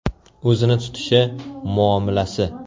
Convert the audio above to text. O‘zini tutishi, muomalasi.